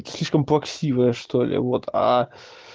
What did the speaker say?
слишком плаксивая что-ли вот а